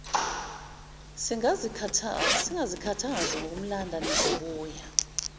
singazikhathazi ngokumlanda nizobuya